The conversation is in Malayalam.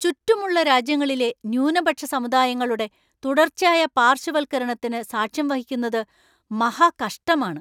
ചുറ്റുമുള്ള രാജ്യങ്ങളിലെ ന്യൂനപക്ഷ സമുദായങ്ങളുടെ തുടർച്ചയായ പാർശ്വവൽക്കരണത്തിന് സാക്ഷ്യം വഹിക്കുന്നത് മഹാകഷ്ടമാണ്.